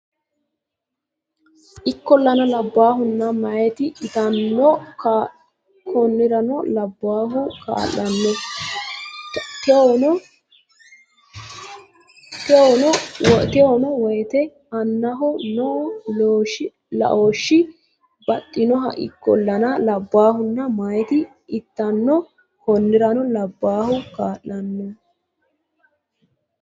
Ikkollana labbaahunna meyaati ilantanno Konnirano labbaahu kaa lonna towaanyo woyte annaho noo laooshshi baxxinoho Ikkollana labbaahunna meyaati ilantanno Konnirano labbaahu kaa lonna.